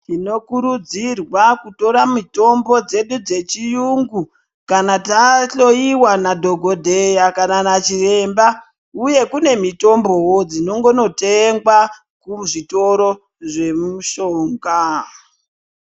Tinokurudzirwa kutora mitombo dzedu dzechiyungu kana tahloyiwa nadhogodheya kana nachiremba. Uye kune mitombowo dzinongonotengwa kuzvitoro zvemushonga